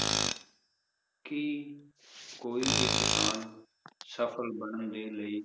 ਕੀ ਕੋਈ ਵੀ ਕਿਸਾਨ ਸਫਲ ਬਨਣ ਦੇ ਲਈ